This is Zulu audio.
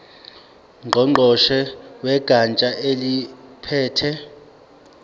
ngqongqoshe wegatsha eliphethe